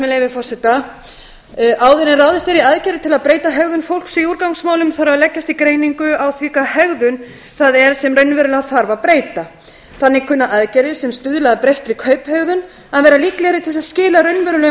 leyfi forseta áður en ráðist er í aðgerðir til að breyta hegðun fólks í úrgangsmálum þarf að leggjast í greiningu á því hvaða hegðun það er sem raunverulega þarf að breyta þannig kunna aðgerðir sem stuðla að breyttri kauphegðun að vera líklegri til þess að skila raunverulegum